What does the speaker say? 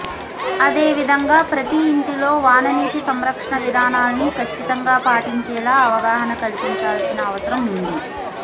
అదే విధంగా ప్రతీ ఇంటిలో వాననీటి సంరక్షణ విధానాల్ని కచ్చితంగా పాటించేలా అవగాహన కల్పించాల్సిన అవసరం ఉంది